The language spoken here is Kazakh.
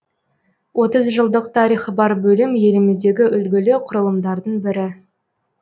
отыз жылдық тарихы бар бөлім еліміздегі үлгілі құрылымдардың бірі